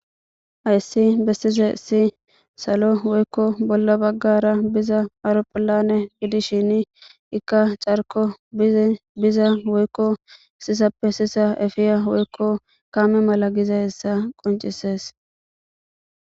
Ayssi bessize si salo woykko bolla baggara biza auropholane gidishin ikka carko biza woykko isisappe sisa efiya woykko kame mala giza hessa qoncisees.